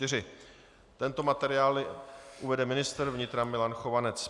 Tento materiál uvede ministr vnitra Milan Chovanec.